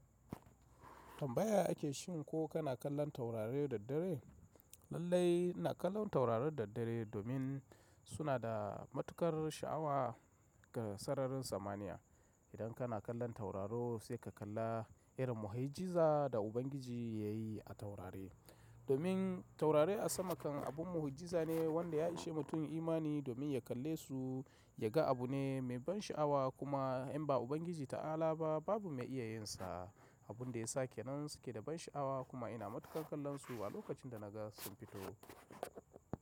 Tambaya ake shin ko kana kallon taurari da dare? Lallai ina kallon taurarin da dare domin suna da matuƙar sha'awa ga sararin samaniya. Idan kana kallon tauraro sai ka kalla irin mu'ujiza da Ubangiji ya yi a taurari. Domin taurari a sama kan abun mu'ujiza ne wanda ya ishe mutumin imani domin ya kalle su ya ga abu ne mai ban sha'awa kuma in ba Ubangiji ta'ala ba babu mai iya yin sa. Abun da yasa kenan su ke da ban sha'awa kuma ina matuƙar kallon su a lokacin da na ga sun fito.